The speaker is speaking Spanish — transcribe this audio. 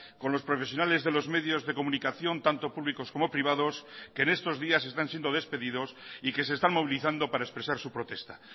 con los profesionales de los medios de comunicación tanto públicos como privados que en estos días están siendo despedidos y que se están movilizando para expresar su protesta